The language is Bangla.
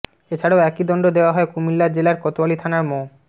এছাড়া একই দণ্ড দেওয়া হয় কুমিল্লা জেলার কোতয়ালী থানার মো